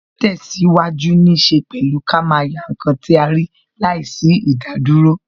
Ti tesiwaju ní ṣe pẹ̀lú ká máa yá ǹkan tí a rí láìsí idaduro